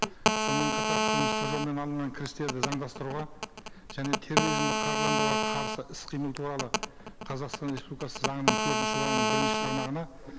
сонымен қатар қылмыстық жолмен алынған кірістерді заңдастыруға және терроризмді қаржыландыруға қарсы іс қимыл туралы қазақстан республикасы заңының төртінші бабының бірінші тармағына